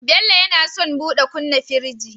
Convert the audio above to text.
Bello yAna son buɗe kumna firji